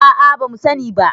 a a ba mu sani ba